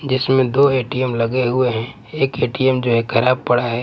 जिसमें दो ए_टी_एम लगे हुए हैं एक ए_टी_एम जो है खराब पड़ा है।